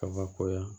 Kabakoya